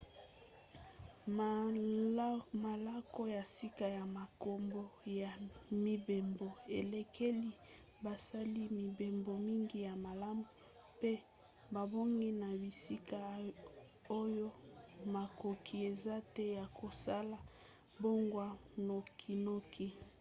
malako ya sika na makambo ya mibembo elekeli basali-mibembo mingi ya malamu mpe babongi na bisika oyo makoki eza te ya kosala mbongwana nokinoki